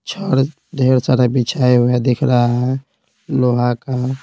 छड़ ढेर सारा बिछाया हुआ दिख रहा है लोहा का।